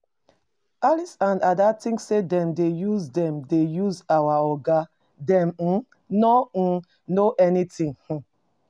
Alice and Ada think say dem dey use dem dey use our Oga, dem um no um know anything. um